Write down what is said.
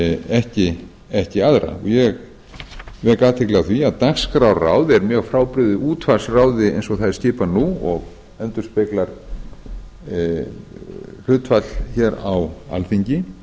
en ekki aðra ég vek athygli á því að dagskrárráð er mjög frábrugðið útvarpsráði eins og það er skipað nú og endurspeglar hlutfall hér á alþingi